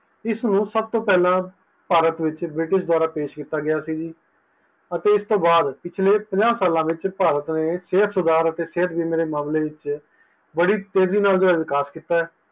ਇਸ ਨੂੰ ਸਬ ਤੋਂ ਪਾਹਲਾ ਭਾਰਤ ਵਿੱਚ british ਦਵਾਰਾਂ ਪੇਛ ਕੀਤਾ ਗਆ ਸੀ ਤੇ ਇਸ ਤੋਹ ਬਾਅਦ ਪਿਛਲੇ ਪੰਜਾਂ ਸਾਲਾਂ ਵਿੱਚ ਸੇਹਤ ਸੁਦਾਹਰ ਅਤੇ ਸੇਹਤ ਬੀਮੇ ਵਿੱਚ ਬੜੀ ਤੇਜੀ ਨਾਲ ਜੋ ਹੈ ਵਿਕਾਸ ਕੀਤਾ ਹੈ